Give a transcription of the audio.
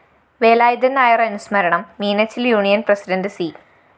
വേലായുധന്‍ നായര്‍ അനുസ്മരണം Meenachil‍ union president C